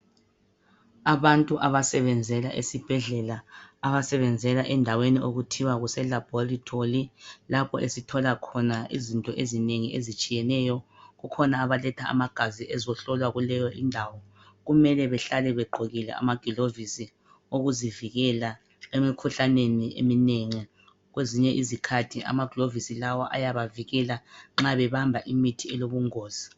Abantu abasebenzela esibhedlela, abasebenzela endaweni okuthiwa kuse labhorethori lapho esithola khona izinto ezinengi ezitshiyeneyo. Kukhona abaletha amagazi ezohlolwa kuleyo indawo. kumele behlale begqokile amagilovisi okuzivikela emikhuhlaneni eminengi. kwezinye izikhathi amagilovisi lawa ayabavikela nxa bebamba imithi elobungozi.